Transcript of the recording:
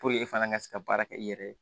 e fana ka se ka baara kɛ i yɛrɛ ye